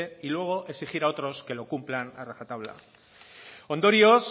y luego exigir a otros que lo cumplan a rajatabla ondorioz